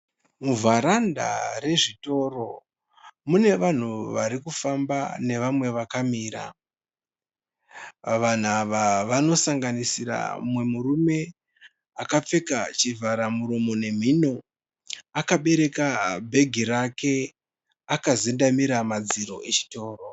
Muvharanda rezvitoro mune vanhu nevamwe vakamira vanhu ava vanosanganisira akapfeka chivhara muromo nemhuno akabereka bhegi rake akazendemera madziro echitoro.